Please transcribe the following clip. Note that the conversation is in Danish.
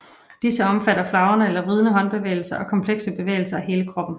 Disse omfatter flagrende eller vridende håndbevægelser og komplekse bevægelser af hele kroppen